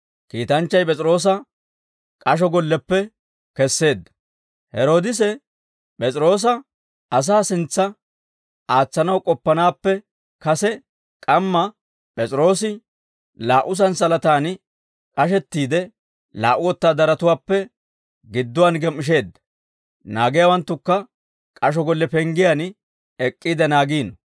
Heroodise P'es'iroosa asaa sintsa aatsanaw k'oppanaappe kase k'amma, P'es'iroosi laa"u santsalataan k'ashettiide, laa"u wotaadaratuwaappe gidduwaan gem"isheedda; naagiyaawanttukka k'asho golle penggiyaan ek'k'iide naagiino.